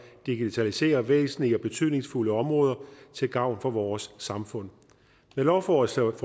digitalisere væsentlige og betydningsfulde områder til gavn for vores samfund med lovforslaget